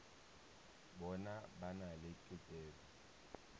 bona ba na le tokelo